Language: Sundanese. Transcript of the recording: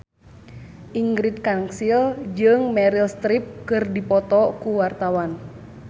Ingrid Kansil jeung Meryl Streep keur dipoto ku wartawan